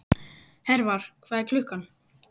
Hervar, hvað er klukkan?